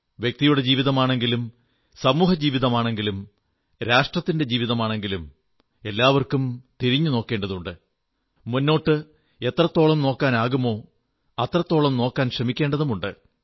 വ്യക്തിയുടെ ജീവിതമാണെങ്കിലും സമൂഹജീവിതമാണെങ്കിലും രാഷ്ട്രത്തിന്റെ ജീവിതമാണെങ്കിലും എല്ലാവർക്കും തിരിഞ്ഞു നോക്കേണ്ടതുണ്ട് മുന്നോട്ട് എത്രത്തോളം നോക്കാനാകുമോ അത്രത്തോളം നോക്കാൻ ശ്രമിക്കേണ്ടതുമുണ്ട്